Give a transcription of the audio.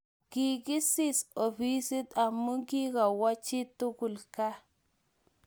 Kikisis ofisit amu kiakuwo chitugul gaa.